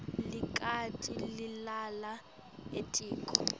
likati lilala etiko